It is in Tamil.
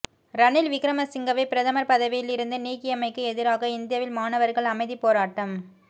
ரணில் விக்கிரமசிங்கவை பிரதமர் பதவியில் இருந்து நீக்கியமைக்கு எதிராக இந்தியாவில் மாணவர்கள் அமைதிப்போராட்டம்